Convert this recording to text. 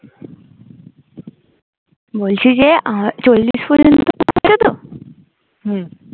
বলছি যে আমার চল্লিশ পর্যন্ত আছে তো হম